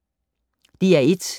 DR1